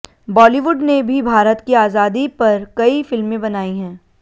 बॉलीवुड ने भी भारत की आजादी पर कई फिल्में बनाई हैं